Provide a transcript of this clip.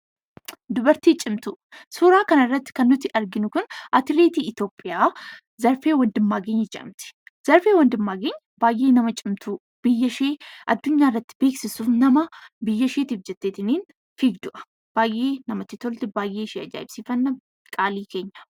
Suuraa kanarratti kan arginu atileetii Itoophiyaa Zarfee Wandimmaageny jedhamti. Zarfee Wandimmaageny baay'ee nama cimtuu biyyashee addunyaarratti beeksisuuf jettee nama fiigdudha. Baay'ee namatti tolti baay'ee ajaa'ibsiifanna qaalii keenya.